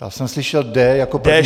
Já jsem slyšel D jako první.